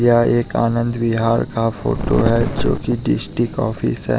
यह एक आनंद बिहार का फोटो है जो की डिस्टिक ऑफिस है।